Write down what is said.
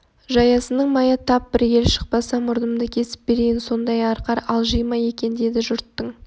жаясының майы тап бір ел шықпаса мұрнымды кесіп берейін сондай арқар алжи ма екен деді жұрттың